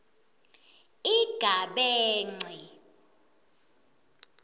igabence